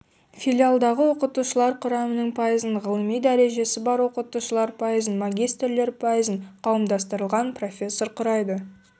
филиалдағы оқытушылар құрамының пайызын ғылыми дәрежесі бар оқытушылар пайызын магистрлер пайызын қауымдастырылған профессор құрайды